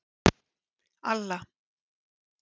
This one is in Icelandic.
Alla